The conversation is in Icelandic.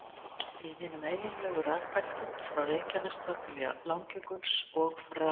Í hinum eiginlegu rekbeltum, frá Reykjanestá til Langjökuls, og frá